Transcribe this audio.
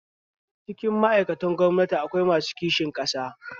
Cikin ma'aikatan gwamnati akwai masu kishin ƙasa